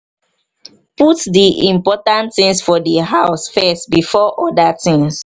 put di important things for di house first before oda things